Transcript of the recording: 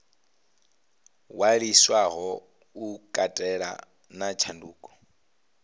ṅwaliswaho u katela na tshanduko